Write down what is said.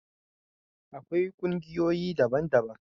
akwai kungiyoyi daban daban